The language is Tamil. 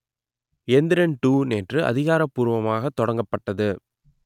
எந்திரன் டூ நேற்று அதிகாரப்பூர்வமாக தொடங்கப்பட்டது